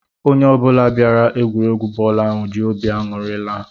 Onye ọ bụla bịara egwuregwu bọọlu ahụ jị óbị aṅụri laa.